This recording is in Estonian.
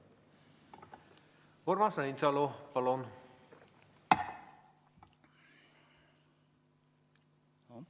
Urmas Reinsalu, palun!